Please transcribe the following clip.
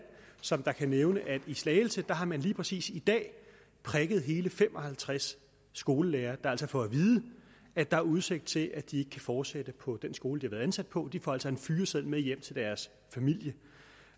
som kan nævne at i slagelse har man lige præcis i dag prikket hele fem og halvtreds skolelærere der altså får at vide at der er udsigt til at de ikke kan fortsætte på den skole de har været ansat på de får altså en fyreseddel med hjem til deres familie